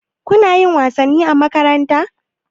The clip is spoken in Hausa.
Kuna yin wasanni a makaranta?